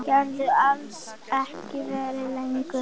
Geturðu alls ekki verið lengur?